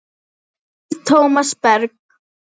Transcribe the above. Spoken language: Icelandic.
Þinn Tómas Berg.